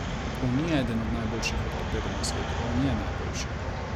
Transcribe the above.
On ni eden od najboljših ortopedov na svetu, on je najboljši.